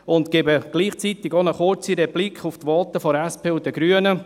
Ich gebe gleichzeitig eine kurze Replik auf die Voten der SP und der Grünen.